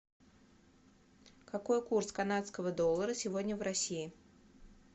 какой курс канадского доллара сегодня в россии